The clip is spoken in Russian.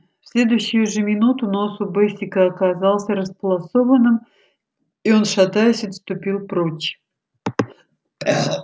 в следующую же минуту нос у бэсика оказался располосованным и он шатаясь отступил прочь